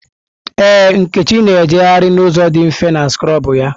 Ee, Nkechi na-ejegharị n'ụzọ dị mfe na skrọbụ ya.